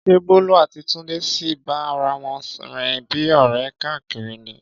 Ṣé Bólú àti Túndé sì ń bá ara wọn rìn bíi ọ̀rẹ́ káàkiri ní?